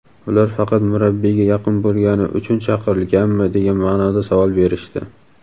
ular faqat murabbiyga yaqin bo‘lgani uchun chaqirilganmi degan ma’noda savol berishdi.